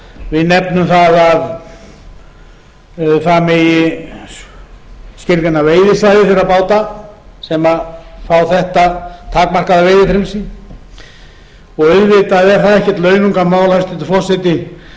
við nefnum að það megi skilgreina veiðisvæði þeirra báta sem fá þetta takmarkaða veiðifrelsi og auðvitað er það ekkert launungarmál hæstvirtur forseti